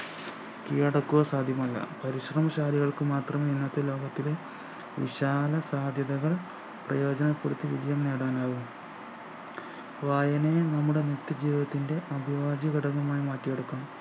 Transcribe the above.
കീഴടക്കുക സാധ്യമല്ല പരിശ്രമശാലികൾക്ക് മാത്രമെ ഇന്നത്തെ ലോകത്തിലെ വിശാല സാധ്യതകൾ പ്രയോജനപ്പെടുത്തി വിജയം നേടാനാവു വായനയും നമ്മുടെ നിത്യ ജീവിതത്തിൻ്റെ അഭിവാജ്യഘടകമായി മാറ്റി എടുക്കണം